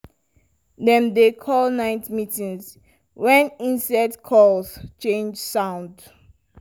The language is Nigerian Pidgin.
dem dey call night meetings when insect calls change sound.